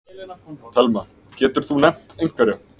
Telma: Getur þú nefnt einhverja?